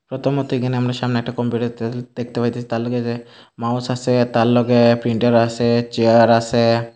প্রথমত এখানে আমরা সামনে একটা কম্পিউটার দেত্তে দেখতে পাইতাছি তার লগে যে মাউস আসে তার লগে প্রিন্টার আসে চেয়ার আসে।